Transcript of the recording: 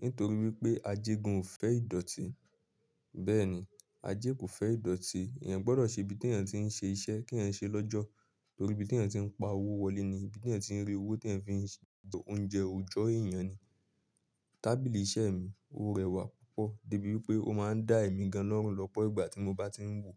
Nítorí wípé ajé gan ò fẹ́ ìdọ̀tí. Bẹ́ẹ̀ ni, ajé kò fẹ́ ìdọ̀tí, ìyẹn gbọ́dọ̀ ṣe ibi tí ẹ̀ ń ṣe iṣẹ́, kí ẹ ṣe lọ́jọ̀. Torí ibi tí ẹ̀eyan ti ń pa owó wọlé ni, ibi tí ẹ̀ ti ń rí owó tí ẹ̀ ti ń fi ṣe ọ̀únjẹ òjọ́ èèyàn ni. Tábìlì iṣẹ́ mi ó rẹwà púpọ̀ débi wípé ó máa ń dá èmi ganán lọ́pọ̀ ìgbà tí mo bá ti ń wò.